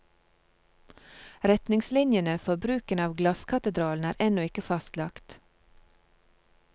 Retningslinjene for bruken av glasskatedralen er ennå ikke fastlagt.